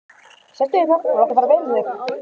Sestu hérna og láttu fara vel um þig!